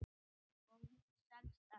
Og hún selst enn.